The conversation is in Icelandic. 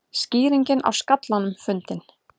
Skýringin á skallanum fundin